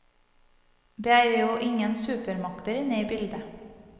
Det er jo ingen supermakter inne i bildet.